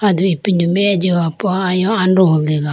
aido ipindo meya ge jiho po ayo androho dega.